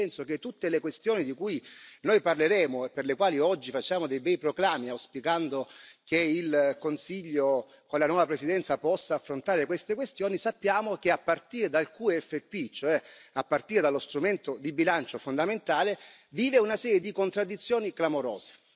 Quindi penso che tutte le questioni di cui noi parleremo e per le quali oggi facciamo dei bei proclami, auspicando che il Consiglio, con la nuova presidenza, possa affrontare queste questioni, sappiamo che a partire dal QFP, cioè a partire dallo strumento di bilancio fondamentale, vive una serie di contraddizioni clamorose.